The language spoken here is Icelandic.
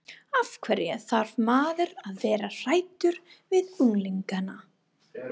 Af hverju þarf maður að vera hræddur við unglingana?